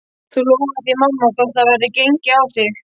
Þú lofar því mamma þótt það verði gengið á þig.